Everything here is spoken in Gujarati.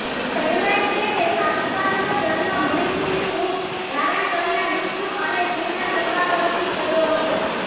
કહેવાય છે કે શાસ્તાનો જન્મ મોહિનીનું રૂપ ધારણ કરનાર વિષ્ણુ અને શિવના સમાગમથી થયો હતો